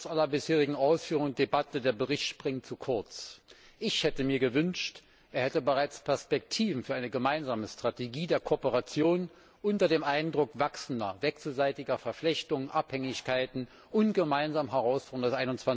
Trotz aller bisherigen Ausführungen und Debatten Der Bericht greift zu kurz. Ich hätte mir gewünscht, er hätte bereits Perspektiven für eine gemeinsame Strategie der Kooperation unter dem Eindruck wachsender wechselseitiger Verflechtungen, Abhängigkeiten und gemeinsamer Herausforderungen des